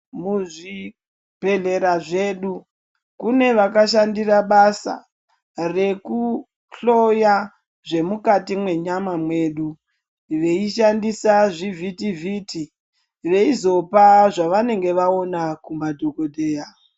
Muzvibhedhlera zvedu kune vakashandira basa rekuhloya zvemukati mwenyama mwedu, veishandisa zvivhiti-vhiti veizopa zvavanenge vaona kumadhogodheya.